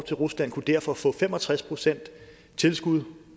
til rusland kunne derfor få fem og tres procent tilskud